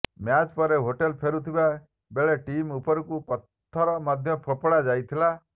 match ପରେ hotel ଫେରୁଥିବା ବେଳେ ଟିମ ଉପରକୁ ପଥର ମଧ୍ୟ ଫୋପଡ଼ା ଯାଇଥିଲା